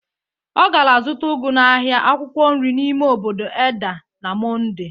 O gara zụta ụgụ n'ahịa akwụkwọ nri n'ime obodo Edda na Monde